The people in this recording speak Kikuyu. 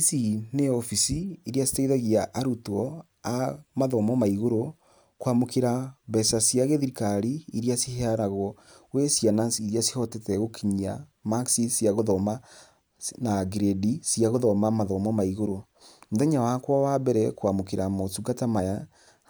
Ici nĩ obici iria citeithagia arutwo a mathomo ma igũrũ kwa mũkĩra mbeca cia gĩthirikari iria ciheanagwo gwĩ ciana iria cihotete gũkinyia marks cia gũthoma na grade cia gũthoma mathomo ma igũrũ , mũthenya wakwa wa mbere kwa mũkĩra motungata maya